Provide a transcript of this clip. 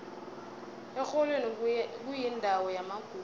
erholweni kuyindawo yamagugu